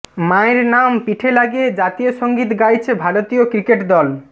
মায়ের নাম পিঠে লাগিয়ে জাতীয় সঙ্গীত গাইছে ভারতীয় ক্রিকেট দল